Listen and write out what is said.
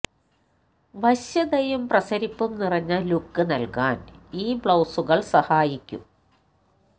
വശ്യതയും പ്രസരിപ്പും നിറഞ്ഞ ലുക്ക് നല്കാന് ഈ ബ്ലൌസുകള് സഹായിക്കും